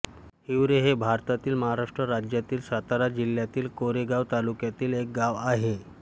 हिवरे हे भारतातील महाराष्ट्र राज्यातील सातारा जिल्ह्यातील कोरेगाव तालुक्यातील एक गाव आहे